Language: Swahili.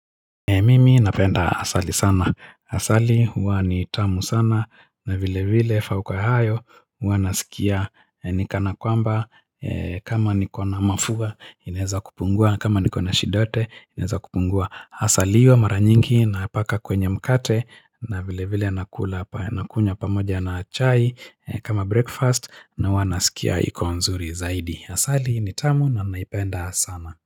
Mimi napenda asali sana. Asali huwa nitamu sana na vile vile fauku ya hayo mi huwa nasikia ni kana kwamba kama nikona mafua inaweza kupungua na kama niko na shida yote inaweza kupungua. Asali hiyo mara nyingi napaka kwenye mkate na vile vile nakunywa pamoja na chai kama breakfast na huwa nasikia iko nzuri zaidi. Asali nitamu na naipenda sana.